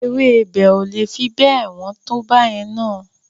Ewébẹ̀ o le fi bẹ́ẹ̀ wọ́n tó báyẹn na.